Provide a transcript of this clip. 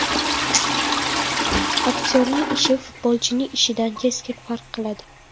Aktyorning ishi futbolchining ishidan keskin farq qiladi.